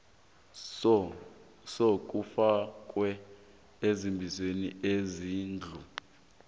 sokufakwa ekambisweni yezindlu